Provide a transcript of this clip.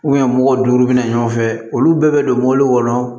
mɔgɔw duuru bɛna ɲɔgɔn fɛ olu bɛɛ bɛ don mɔbili kɔnɔ